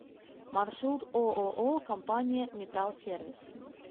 маршрут ооо компания металлсервис